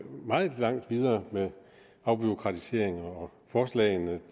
meget længere med afbureaukratiseringer forslagene